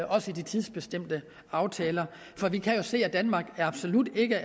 også i de tidsbestemte aftaler for vi kan jo se at danmark absolut ikke